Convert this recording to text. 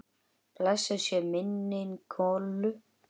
Blessuð sé minning Kollu.